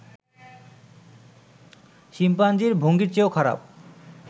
শিম্পাঞ্জির ভঙ্গির চেয়েও খারাপ